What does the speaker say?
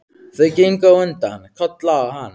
Þau gengu á undan, Kolla og hann.